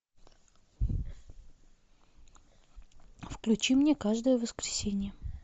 включи мне каждое воскресенье